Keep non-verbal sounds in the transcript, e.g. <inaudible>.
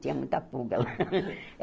Tinha muita pulga lá. <laughs>